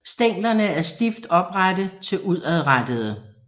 Stænglerne er stift oprette til udadrettede